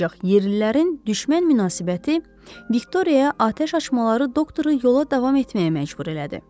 Ancaq yerlilərin düşmən münasibəti Viktoriyaya atəş açmaları doktoru yola davam etməyə məcbur elədi.